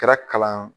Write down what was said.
Kɛra kalan